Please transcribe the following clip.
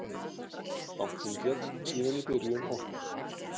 Bankinn féll síðan í byrjun október